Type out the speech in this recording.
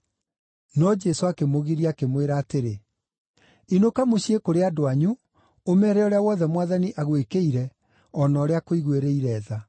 No Jesũ akĩmũgiria, akĩmwĩra atĩrĩ, “Inũka mũciĩ kũrĩ andũ anyu, ũmeere ũrĩa wothe Mwathani agwĩkĩire, o na ũrĩa akũiguĩrĩire tha.”